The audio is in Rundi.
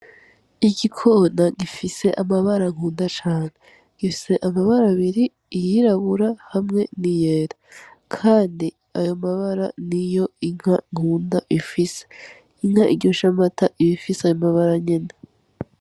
Igikona gifise amabara nkunda cane, gifise amabara abiri iyirabura hamwe n'iyera. Kandi ayo mabara niyo inka nkunda ifise. Inka iryosha amata iba ifise ayo mabara nyene.